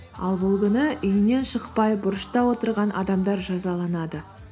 ал бұл күні үйінен шықпай бұрышта отырған адамдар жазаланады